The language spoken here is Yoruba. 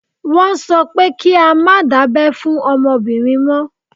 Wọ́n sọ pé kí á má dábẹ́ fún ọmọbìnrin mọ́.